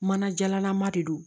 Mana jalalama de don